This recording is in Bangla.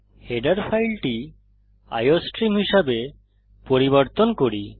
হেডার ফাইলটি আইওস্ট্রিম হিসাবে পরিবর্তন করি